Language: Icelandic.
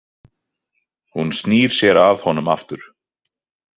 Hún snýr sér að honum aftur.